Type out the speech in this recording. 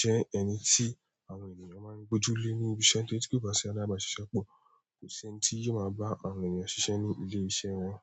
je ẹni tí àwọn èèyàn máa ń gbójú lè ní ibi iṣẹ́ torí tí kò bá sí alábàṣiṣẹ́pọ̀, kò sí ẹni tí yóò máa bá àwọn èèyàn ṣiṣẹ́ ní ilé iṣẹ́ wọn.